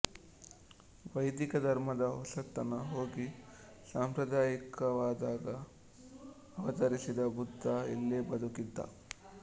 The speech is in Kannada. ವೈದಿಕ ಧರ್ಮದ ಹೊಸತನ ಹೋಗಿ ಸಾಂಪ್ರದಾಯಿಕವಾದಾಗ ಅವತರಿಸಿದ ಬುದ್ಧ ಇಲ್ಲೇ ಬದುಕಿದ್ದ